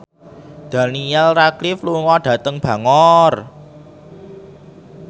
Daniel Radcliffe lunga dhateng Bangor